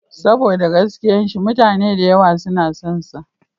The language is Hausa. Saboda gaskiya shi mutane da yawa suna son sa.